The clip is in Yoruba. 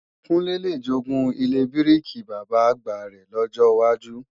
Kúnlé le jogún ilé bíríkì Bàbá-àgbà rẹ̀ lọ́jọ wájú